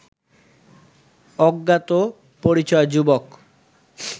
অজ্ঞাত পরিচয় যুবক